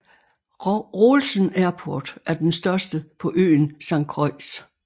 Rohlsen Airport er den største på øen Saint Croix